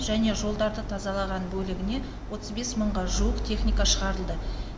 және жолдарды тазалаған бөлігіне отыз бес мыңға жуық техника шығарылды